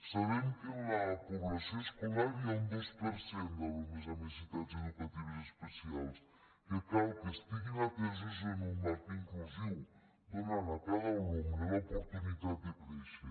sabem que en la població escolar hi ha un dos per cent d’alumnes amb necessitats educatives especials que cal que estiguin atesos en un marc inclusiu per donar a cada alumne l’oportunitat de créixer